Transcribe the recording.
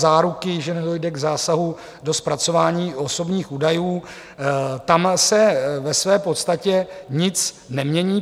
Záruky, že nedojde k zásahu do zpracování osobních údajů - tam se ve své podstatě nic nemění.